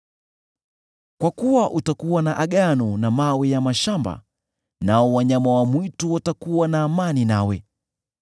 Kwa kuwa utakuwa na agano na mawe ya mashamba, nao wanyama wa mwitu watakuwa na amani nawe.